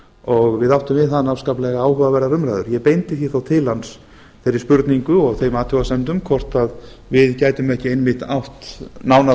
og við áttum við hann afskaplega áhugaverðar umræður ég beindi því þó til hans þeirri spurningu og þeim athugasemdum hvort við gætum ekki einmitt átt nánara